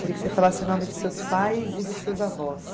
Queria que você falasse o nome dos seus pais e dos seus avós.